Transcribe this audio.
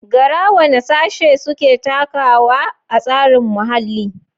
Gara: Wane Sashe Suke Takawa a Tsarin Muhalli?